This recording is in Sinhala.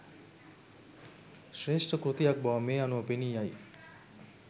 ශ්‍රේෂ්ඨ කෘතියක් බව මේ අනුව පෙනීයයි.